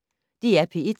DR P1